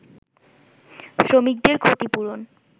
শ্রমিকদের ক্ষতিপূরণ